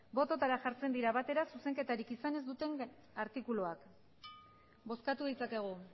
bototara jartzen dira batera zuzenketarik izan ez duten artikuluak bozkatu ditzakegu